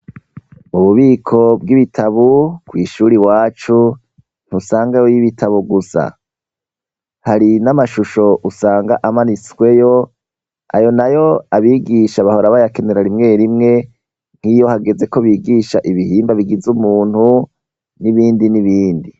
mu bubiko bw'ibitabu kw'ishuri wacu ntusangayo ibitabo gusa hari n'amashusho usanga amanitsweyo ayo nayo abigisha bahora baya kenera rimwe rimwe nk'iyo hageze ko bigisha ibihimba bigize umuntu n'ibindi n'ibindi